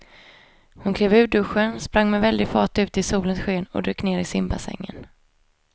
Hon klev ur duschen, sprang med väldig fart ut i solens sken och dök ner i simbassängen.